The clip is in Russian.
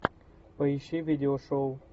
поищи видеошоу